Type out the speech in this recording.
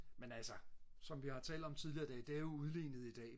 men altså som vi har talt om tidligere det er jo udlignet i dag